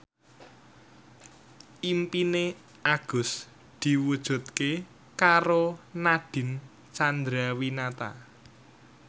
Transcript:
impine Agus diwujudke karo Nadine Chandrawinata